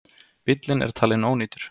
Bíllinn er talin ónýtur.